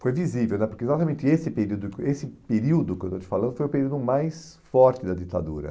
Foi visível né, porque exatamente esse período esse período que eu estou te falando foi o período mais forte da ditadura.